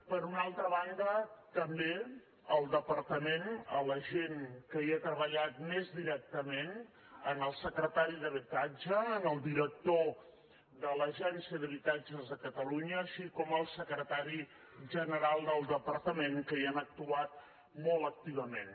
per una altra banda també al departament a la gent que hi ha treballat més directament al secretari d’habitatge al director de l’agencia d’habitatges de catalunya com també al secretari general del departament que hi han actuat molt activament